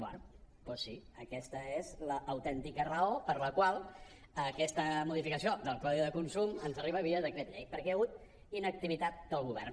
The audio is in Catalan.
bé doncs sí aquesta és l’autèntica raó per la qual aquesta modificació del codi de consum ens arriba via decret llei perquè hi ha hagut inactivitat del govern